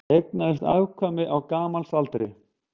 Eignaðist afkvæmi á gamalsaldri